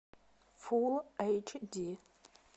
фул эйч ди